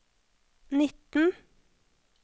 nitten